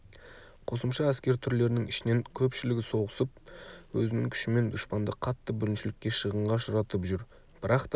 қосымша әскер түрлерінің ішінен көпшілігі соғысып өзінің күшімен дұшпанды қатты бүліншілікке шығынға ұшыратып жүр бірақ та